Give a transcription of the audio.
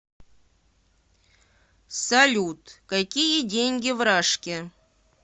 салют какие деньги в рашке